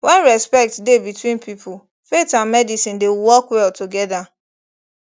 when respect dey between people faith and medicine dey work well together